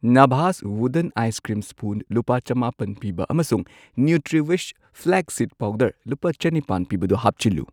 ꯅꯥꯚꯥꯁ wooden ice cream spoon ꯂꯨꯄꯥ ꯆꯝꯃꯥꯄꯟ ꯄꯤꯕ ꯑꯃꯁꯨꯡ ꯅ꯭ꯌꯨꯇ꯭ꯔꯤꯋꯤꯁ ꯐ꯭ꯂꯦꯛꯁ ꯁꯤꯗ ꯄꯥꯎꯗꯔ ꯂꯨꯄꯥ ꯆꯅꯤꯄꯥꯟ ꯄꯤꯕꯗꯨ ꯍꯥꯞꯆꯤꯜꯂꯨ꯫